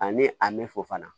Ani a mɛ fɔ fana